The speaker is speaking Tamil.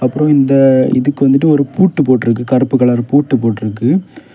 அப்புறம் இந்த இதுக்கு வந்துட்டு ஒரு பூட்டு போட்டுருக்கு கருப்பு கலர் பூட்டு போட்டு இருக்கு.